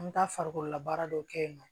An bɛ taa farikololabaara dɔw kɛ yen nɔ